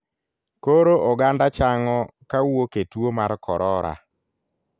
Koro oganda chang'o kawuok e tuo mar korora.